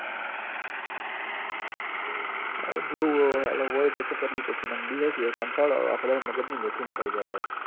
હમ જોવું અવ અન હોય તો તો કરવી પડશે રમ્બી હ ક યાર કંટાળો આવ હ આખો દાડો મગજની મેથી મરઈ જાય હ યાર